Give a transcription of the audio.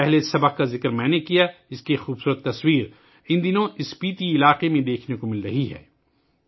پہلا سبق ، جس کا میں نے ذکر کیا، اس کی ایک خوبصورت تصویر ان دنوں اسپیتی کے علاقے میں دیکھی جا رہی ہے